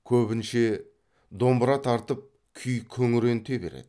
көбінше домбыра тартып күй күңіренте береді